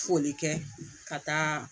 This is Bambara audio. Foli kɛ ka taa